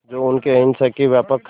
जो उनके अहिंसा के व्यापक